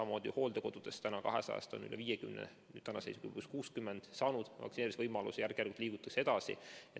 Meie 200-st hooldekodust on üle 50, tänase seisuga 60 saanud vaktsineerimise võimaluse ja järk-järgult liigutakse edasi.